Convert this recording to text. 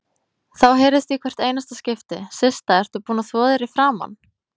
Þá heyrðist í hvert einasta skipti: Systa, ertu búin að þvo þér í framan?